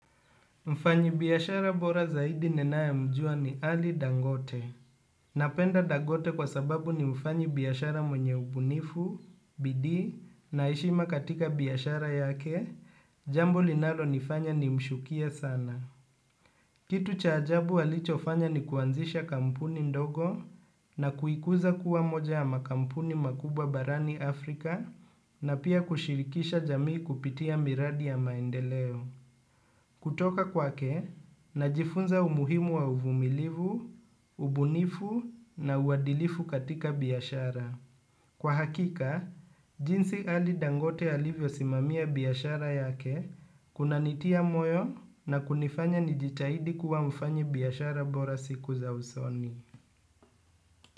Mfanyi biyashara bora zaidi ninae mjua ni ali dangote. Napenda dangote kwa sababu ni mfanyi biyashara mwenye ubunifu, bidi, na eshima katika biyashara yake, jambo linalo nifanya ni mshukie sana. Kitu cha ajabu walicho fanya ni kuanzisha kampuni ndogo na kuikuza kuwa moja ya makampuni makubwa barani Afrika na pia kushirikisha jamii kupitia miradi ya maendeleo. Kutoka kwake, najifunza umuhimu wa uvumilivu, ubunifu na uwadilifu katika biyashara. Kwa hakika, jinsi ali dangote alivyo simamia biyashara yake, kuna nitia moyo na kunifanya nijitahidi kuwa mfanyi biyashara bora siku za usoni.